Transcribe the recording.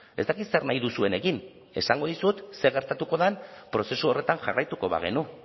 ez dakit zer nahi duzuen egin esango dizut zer gertatuko den prozesu horretan jarraituko bagenu